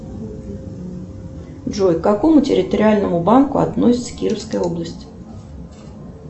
джой к какому территориальному банку относится кировская область